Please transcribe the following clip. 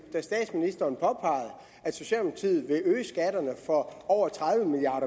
da statsministeren påpegede at socialdemokratiet vil øge skatterne for over tredive milliard